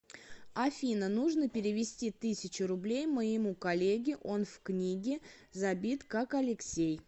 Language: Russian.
афина нужно перевести тысячу рублей моему коллеге он в книге забит как алексей